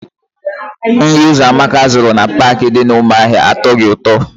Nri Ụzọamaka zụrụ na Paakị dị n'Ụmụahịa atọghị ụtọ.